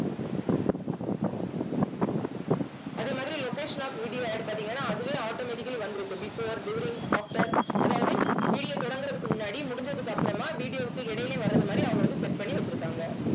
அதே மாதிரி location of videoAD பாத்தீங்கன்னா அதுவே automatically வந்திருக்கு before during offer அதாவது video தொடங்குறதுக்கு முன்னாடி முடிஞ்சதுக்கு அப்புறமா video வுக்கு இடையிலயும் வர்றது மாதிரி அவங்க வந்து set பண்ணி வச்சிருக்காங்க